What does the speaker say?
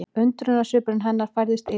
Undrunarsvipur hennar færðist yfir á